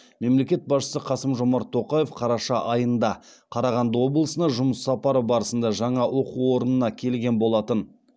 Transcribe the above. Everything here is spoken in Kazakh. мемлекет басшысы қасым жомарт тоқаев қараша айында қарағанды облысына жұмыс сапары барысында жаңа оқу орнына келген болатын